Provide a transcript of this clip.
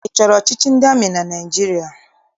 Ị chọrọ ọchịchị ndị amị na Naịjirịa?